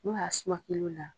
N'u y'a suma kilo la.